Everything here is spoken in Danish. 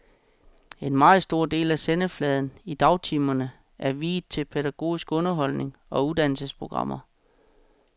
En meget stor del af sendefladen i dagtimerne er viet til pædagogisk underholdning og uddannelsesprogrammer.